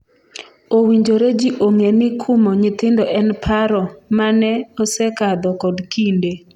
owinjore jii ong'e ni kumo nyithindo en paro mane osekadho kod kinde